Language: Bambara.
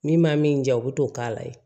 Min ma min ja u bɛ t'o k'a la yen